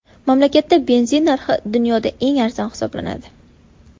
Mamlakatda benzin narxi dunyoda eng arzon hisoblanadi.